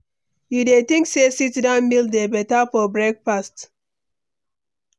You dey think say sit-down meal dey beta for breakfast?